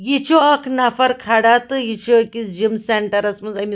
یہِ چُھ اکھ نفر کھڑا تہٕ یہِ چُھ أکِس جِم .سینٹرس منٛزأمہِ